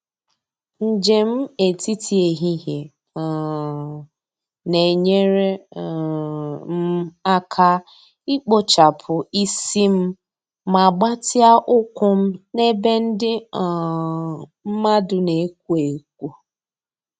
Njem etiti ehihie um na-enyere um m aka ikpochapụ isi m ma gbatịa ụkwụ m na ebe ndị um mmadụ na-ekwo ekwo.